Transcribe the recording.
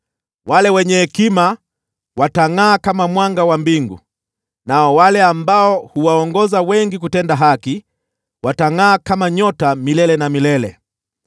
Wale wenye hekima watangʼaa kama mwanga wa mbingu, nao wale ambao huwaongoza wengi kutenda haki, watangʼaa kama nyota milele na milele.